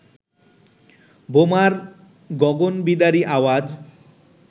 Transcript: বোমার গগনবিদারী আওয়াজ